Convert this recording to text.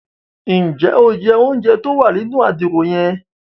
Njẹ o jẹ ounjẹ tí o wà nínú Àdìrò yen?